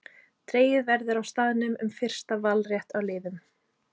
Dregið verður á staðnum um fyrsta valrétt á liðum.